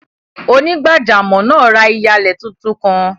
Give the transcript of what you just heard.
Onígbàjàmọ́ naa rá iyalẹ̀ tuntun kan.